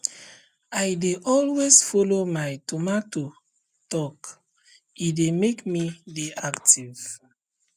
i dey always follow my tomato talke dey make me dey active